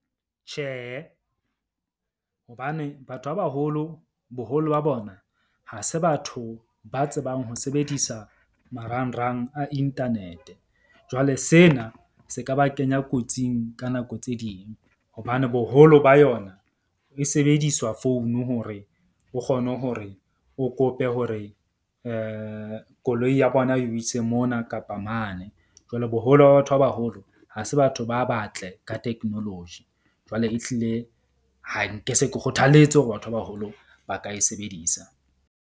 Tjhehe, hobane batho ba baholo boholo ba bona ha se batho ba tsebang ho sebedisa marangrang a internet-e jwale, sena se ka ba kenya kotsing ka nako tse ding. Hobane boholo ba yona e sebediswa founu hore o kgone hore o kope hore koloi ya bona e o ise mona kapa mane. Jwale boholo ba batho ba baholo ha se batho ba batle ka technology jwale e hlile, ha nke se ke kgothaletse hore batho ba baholo ba ka e sebedisa.